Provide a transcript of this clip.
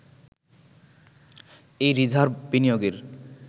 এই রিজার্ভ বিনিয়োগের